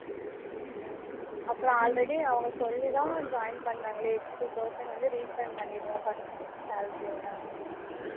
அப்பறம் already அவங்க சொல்லி தான் join பண்ணுனாங்களே two thousand வந்து refund பன்னிருவோம் first month salary ஓட